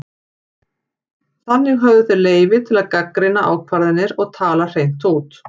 Þannig höfðu þeir leyfi til að gagnrýna ákvarðanir og tala hreint út.